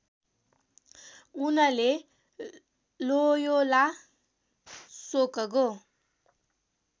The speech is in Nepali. उनले लोयोला शोकगो